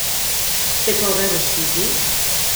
Ste koga rešili?